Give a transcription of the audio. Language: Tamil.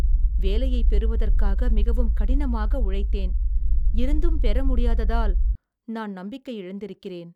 வேலையை பெறுவதற்காக மிகவும் கடினமாக உழைத்தேன், இருந்தும் பெற முடியாததால் நான் நம்பிக்கை இழந்திருக்கிறேன்